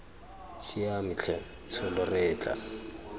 siame tlhe tsholo re etla